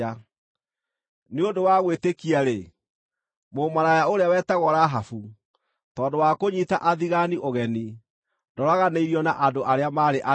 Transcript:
Nĩ ũndũ wa gwĩtĩkia-rĩ, mũmaraya ũrĩa wetagwo Rahabu, tondũ wa kũnyiita athigaani ũgeni, ndoraganĩirio na andũ arĩa maarĩ aremi.